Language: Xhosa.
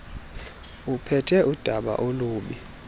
uphethe udaba olubi